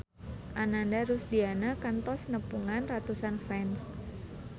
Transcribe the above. Ananda Rusdiana kantos nepungan ratusan fans